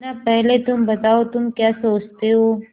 मुन्ना पहले तुम बताओ तुम क्या सोचते हो